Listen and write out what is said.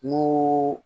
N'o